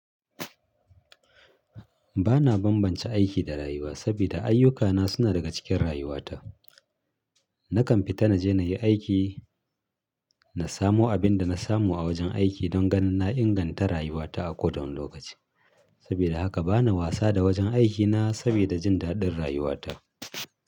Ba na bambance aiki da rayuwa sabida ayyukana suna daga cikin rayuwata. Nakan fita na je na yi aiki, na samo abin da na samu a wajen aiki don ganin na inganta rayuwata a koda wani lokaci. Sabida haka bana wasa da wajen aikina sabida jin daɗin rayuwata.